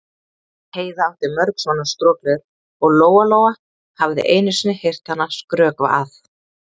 Heiða átti mörg svona strokleður og Lóa-Lóa hafði einu sinni heyrt hana skrökva að